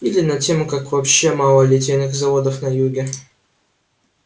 или над тем как вообще мало литейных заводов на юге